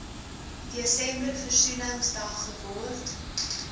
desember versoeningsdag geword